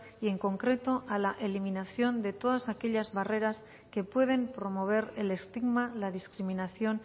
y en concreto a la eliminación de todas aquellas barreras que pueden promover el estigma la discriminación